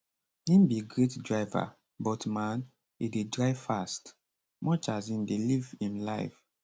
im be great driver but man e dey drive fast much as im dey live im life